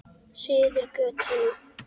Suður götuna.